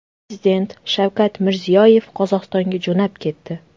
Prezident Shavkat Mirziyoyev Qozog‘istonga jo‘nab ketdi.